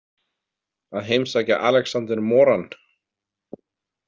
Að heimsækja Alexander Moran?